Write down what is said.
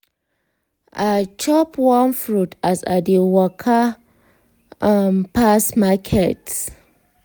i chop one fruit as i dey waka um pass market.